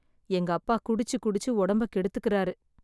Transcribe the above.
எங்க அப்பா குடிச்சு குடிச்சு ஒடம்ப கெடுத்துக்குறாரு